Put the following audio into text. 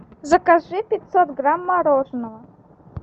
закажи пятьсот грамм мороженого